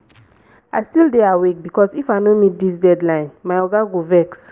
i still dey awake because if i no meet dis deadline my oga go vex.